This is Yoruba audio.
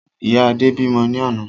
Ìyá Adé bímọ ní àná